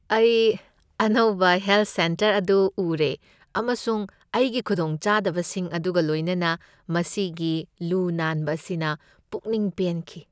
ꯑꯩ ꯑꯅꯧꯕ health centre ꯑꯗꯨ ꯎꯔꯦ ꯑꯃꯁꯨꯡ ꯃꯁꯤꯒꯤ ꯈꯨꯗꯣꯡꯆꯥꯕꯁꯤꯡ ꯑꯗꯨꯒ ꯂꯣꯏꯅꯅ ꯃꯁꯤꯒꯤ ꯂꯨ ꯅꯥꯟꯕ ꯑꯁꯤꯅ ꯄꯨꯛꯅꯤꯡ ꯄꯦꯟꯈꯤ꯫